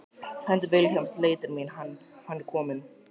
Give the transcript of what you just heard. Hönd Vilhjálms leitar minnar Hann er kominn.